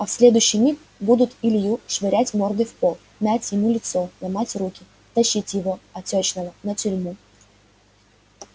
а в следующий миг будут илью швырять мордой в пол мять ему лицо ломать руки тащить его отёчного на тюрьму